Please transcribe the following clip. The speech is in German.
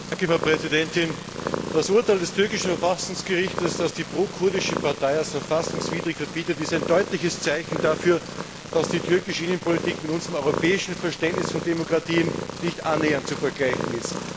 Frau Präsidentin! Das Urteil des türkischen Verfassungsgerichts, das die pro kurdische Partei als verfassungswidrig verbietet, ist ein deutliches Zeichen dafür, dass die türkische Innenpolitik mit unserem europäischen Verständnis von Demokratie nicht annähernd zu vergleichen ist.